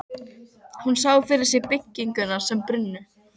Hún sá fyrir sér byggingarnar sem brunnu.